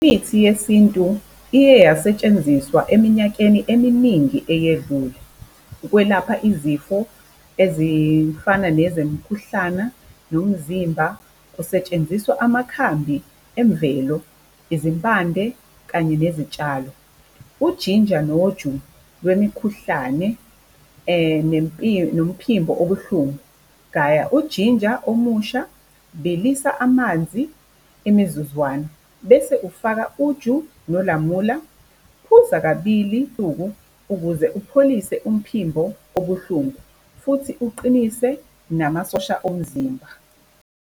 Imithi yeSintu iye yasetshenziswa eminyakeni eminingi eyedlule. Ukwelapha izifo, ezifana nezemkhuhlana, nomzimba, kusetshenziswa amakhambi emvelo, izimpande kanye nezitshalo. Ujinja noju lwemikhuhlane nomphimbo obuhlungu, gaya ujinja omusha, bilisa amanzi imizuzwana, bese ufaka uju nolamula. Phuza kabili usuku, ukuze upholise umphimbo obuhlungu, futhi uqinise namasosha omzimba.